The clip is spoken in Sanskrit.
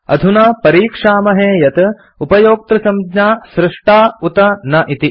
अधुना परीक्षामहे यत् उपयोक्तृसंज्ञा सृष्टा उत न इति